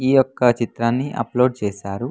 ఈ ఒక చిత్రాన్ని అప్లోడ్ చేశారు.